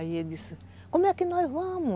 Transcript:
Aí ele disse, como é que nós vamos?